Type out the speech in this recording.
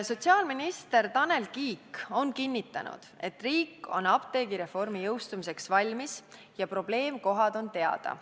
Sotsiaalminister on kinnitanud, et riik on apteegireformi jõustumiseks valmis ja probleemkohad on teada.